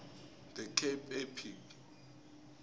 the cape epic